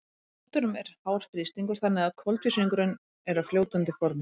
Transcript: í kútunum er hár þrýstingur þannig að koltvísýringurinn er á fljótandi formi